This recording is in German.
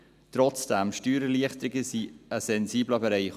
Trotzdem sind Steuererleichterungen ein sensibler Bereich.